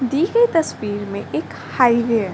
दी गई तस्वीर में एक हाईवे है |